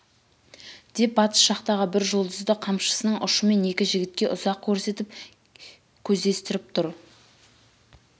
деп батыс жақтағы бір жұлдызды қамшысының ұшымен екі жігітке ұзақ көрсетіп көздестіріп тұр